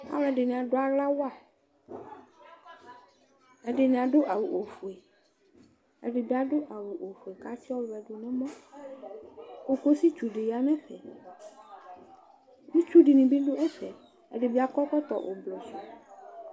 Alʋɛdɩnɩ adʋ aɣla wa Ɛdɩnɩ adʋ awʋ ofue, ɛdɩ bɩ adʋ awʋ ofue kʋ atsɩdʋ nʋ ɔwɛ dʋ nʋ ɛmɔ Kokositsu dɩ ya nʋ ɛfɛ Itsu dɩnɩ bɩ dʋ ɛfɛ Ɛdɩ bɩ akɔ ɛkɔtɔ ʋblɔ sʋ